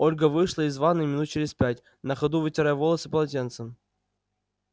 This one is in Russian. ольга вышла из ванны минут через пять на ходу вытирая волосы полотенцем